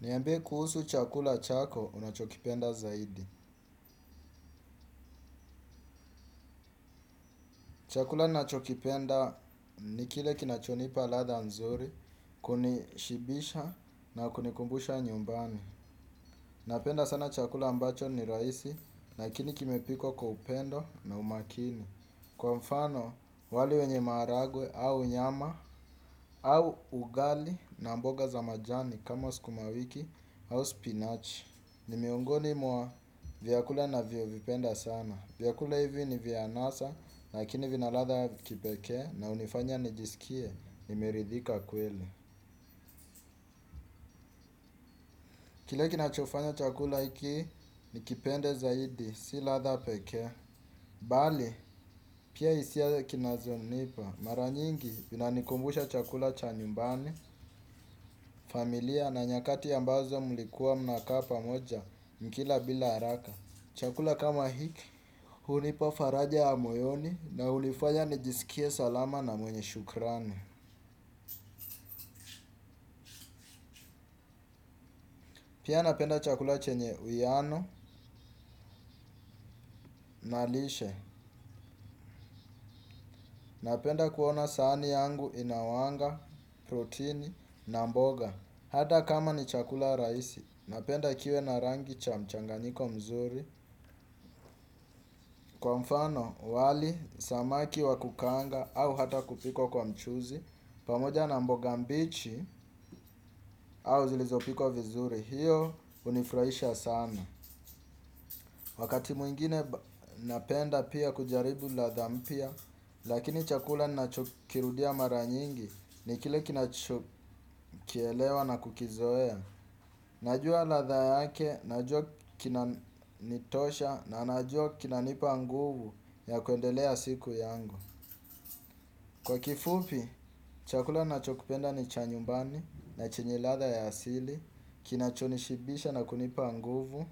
Niambie kuhusu chakula chako unachokipenda zaidi. Chakula ninacho kipenda ni kile kinachonipa ladha nzuri, kunishibisha na kunikumbusha nyumbani. Napenda sana chakula ambacho ni rahisi, lakini kimepikwa kwa upendo na umakini. Kwa mfano, wali wenye maharagwe au nyama au ugali na mboga za majani kama sukumawiki au spinachi. Ni miongoni mwa vyakula ninavyovipenda sana. Vyakula hivi ni vya anasa, lakini vina ladha ya kipekee na hunifanya nijisikie, nimeridhika kweli. Kile kinachofanya chakula hiki, nikipende zaidi, si ladha pekee. Bali, pia hisia za kinazonipa. Mara nyingi, zina nikumbusha chakula cha nyumbani, familia na nyakati ambazo mlikuwa mnakapa pamoja, mkila bila haraka. Chakula kama hiki, hunipa faraja ya moyoni na hunifanya nijisikie salama na mwenye shukrani. Pia napenda chakula chenye uwiano na lishe. Napenda kuona sahani yangu ina wanga, protini na mboga. Hata kama ni chakula rahisi, napenda kiwe na rangi cha mchanganyiko mzuri. Kwa mfano, wali, samaki wa kukaanga au hata kupikwa kwa mchuzi. Pamoja na mboga mbichi au zilizopikwa vizuri. Hiyo hunifurahisha sana. Wakati mwingine napenda pia kujaribu ladha mpya. Lakini chakula ninachokirudia mara nyingi ni kile kinacho kielewa na kukizoea. Najua ladha yake, najua kinanitosha. Na najua kinanipa nguvu ya kuendelea siku yangu. Kwa kifupi, chakula ninachokipenda ni cha nyumbani na chenye ladha ya asili. Kinacho nishibisha na kunipa nguvu.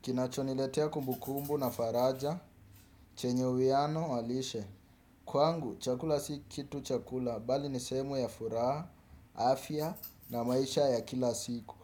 Kinacho niletea kumbukumbu na faraja. Chenye uwiano wa lishe. Kwangu chakula si kitu chakula bali ni sehemu ya furaha, afya na maisha ya kila siku.